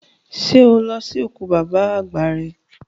Ṣẹ́ o lọ sí òkú bàbá àgbà rẹ?